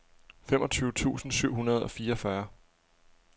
femogtyve tusind syv hundrede og fireogfyrre